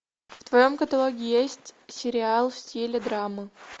в твоем каталоге есть сериал в стиле драмы